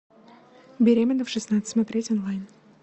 беременна в шестнадцать смотреть онлайн